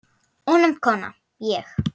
Ónefnd kona: Ég?